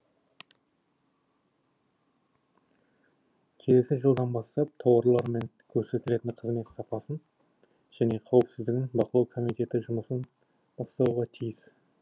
келесі жылдан бастап тауарлар мен көрсетілетін қызмет сапасын және қауіпсіздігін бақылау комитеті жұмысын бастауға тиіс